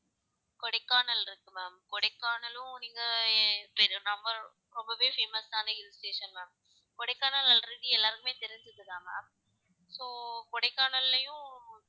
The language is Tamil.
கொடைக்கானல் இருக்கு கொடைக்கானலும் நீங்க ரொம்பவே famous ஆன hill station ma'am Kodaikanal already எல்லாருக்குமே தெரிஞ்சது தான் ma'am so கொடைக்கானல்லயும்